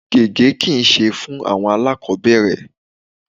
Gege kí i ṣe fún àwọn alakobere.